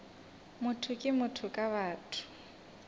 motho ke motho ka batho